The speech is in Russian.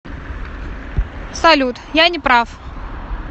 салют я не прав